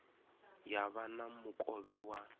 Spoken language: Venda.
ya vha na mukovhe wa